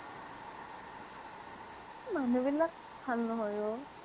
এহ্ মানুহবিলাকক ভাল নহয় অ'